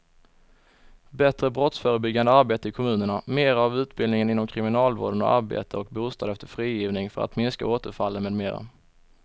Bättre brottsförebyggande arbete i kommunerna, mera av utbildning inom kriminalvården och arbete och bostad efter frigivningen för att minska återfallen med mera.